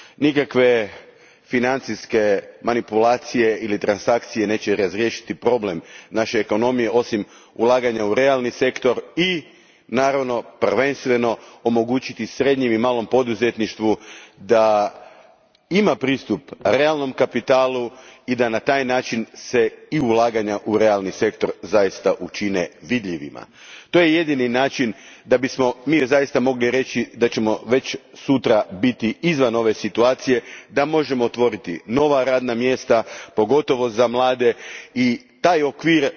Nikakve financijske manipulacije ili transakcije neće razriješiti problem naše ekonomije, osim ulaganja u realni sektor i naravno, prvenstveno omogućiti srednjem i malom poduzetništvu da ima pristup realnom kapitalu i da se na taj način i ulaganja u realni sektor zaista učine vidljivima. To je jedini način na koji bismo mogli reći da ćemo već sutra biti izvan ove situacije, da možemo otvoriti nova radna mjesta, pogotovo za mlade i taj okvir